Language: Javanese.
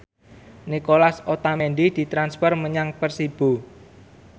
Nicolas Otamendi ditransfer menyang Persibo